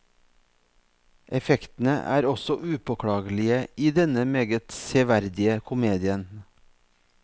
Effektene er også upåklagelige i denne meget severdige komedien.